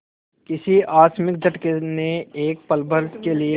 किसी आकस्मिक झटके ने एक पलभर के लिए